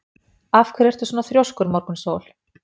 Af hverju ertu svona þrjóskur, Morgunsól?